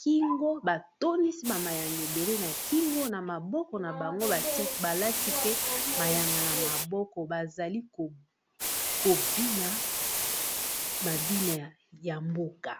kingo ba tondisi ba mayanga ebele na kingo na maboko na bango bati balati pe mayanga na maboko bazali kobina mabina ya mboka.